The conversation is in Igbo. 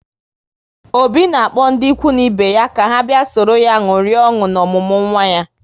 Obi na-akpọ ndị ikwu na ibe ya ka ha bịa sọrọ ya ṅụrịa ọṅụ na ọmụmụ nwa ya